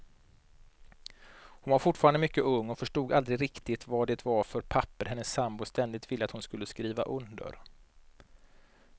Hon var fortfarande mycket ung och förstod aldrig riktigt vad det var för papper hennes sambo ständigt ville att hon skulle skriva under.